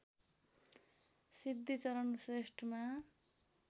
Siddhicharan श्रेष्ठमा